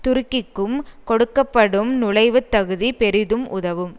துருக்கிக்கும் கொடுக்க படும் நுழைவுத் தகுதி பெரிதும் உதவும்